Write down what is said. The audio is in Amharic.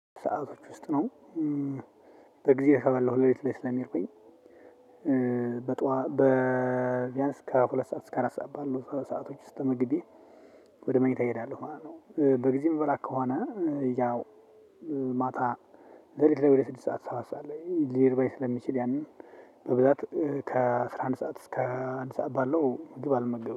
ሰአቶች ውስጥ ነው በጊዜ ከበላሁ ሌሊት ላይ ስለሚርብኝ በቢያንስ ከሁለት ሰዓት እስከ አራት ሰዓት ባሉ ሰአቶች ውስጥ ተመግቢ ወደ መኝታ እሄዳለሁ ማለት ነው። በጊዜ እምበላ ከሆነ ያው ማታ ለሊት ላይ ወደ ስድስት ሰዓት ሰባት ሰዓት ላይ ሊርበኝ ስለሚችል ያንን በብዛት ከ አስራ አንድ ሰዓት እስከ አንድ ሰዓት ባለው ምግብ አልመገብም